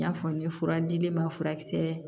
N y'a fɔ n ye fura dili ma furakisɛ